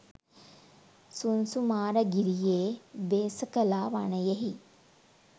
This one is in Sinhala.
සුංසුමාරගිරියේ භේසකලා වනයෙහි